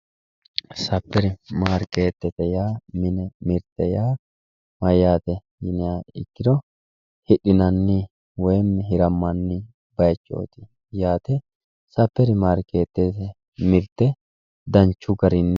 Saperi mariketete yaa mayate yinniha ikkiro hidhinanni woyimi hiramanni bayichoti yaate ,saperi mariketeti mirte danchu garinni.